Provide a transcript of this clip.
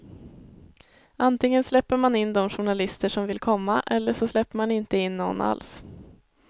Antingen släpper man in de journalister som vill komma eller så släpper man inte in någon alls.